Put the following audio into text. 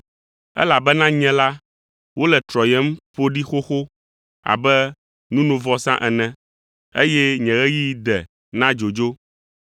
Elabena nye la, wole trɔyem ƒo ɖi xoxo abe nunovɔsa ene, eye nye ɣeyiɣi de na dzodzo.